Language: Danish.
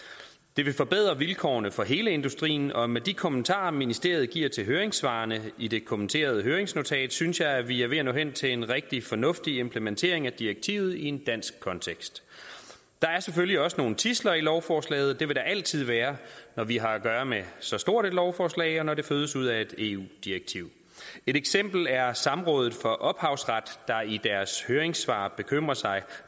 det vil forbedre vilkårene for hele industrien og med de kommentarer ministeriet giver til høringssvarene i det kommenterede høringsnotat synes jeg at vi er ved at nå hen til en rigtig fornuftig implementering af direktivet i en dansk kontekst der er selvfølgelig også nogle tidsler i lovforslaget det vil der altid være når vi har at gøre med så stort et lovforslag og når det fødes ud af et eu direktiv et eksempel er samrådet for ophavsret der i deres høringssvar bekymrer sig